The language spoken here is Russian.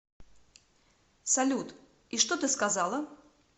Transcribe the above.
салют и что ты сказала